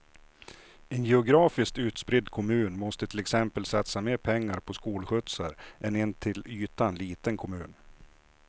En geografiskt utspridd kommun måste till exempel satsa mer pengar på skolskjutsar än en till ytan liten kommun.